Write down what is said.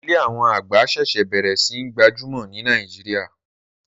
Ilé àwọn àgbà ṣẹ̀ṣẹ̀ bẹ̀rẹ̀ sí n gbajúmọ̀ ní Nàìjíríà